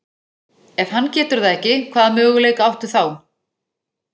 Ef hann getur það ekki, hvaða möguleika áttu þá?